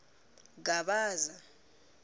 gavaza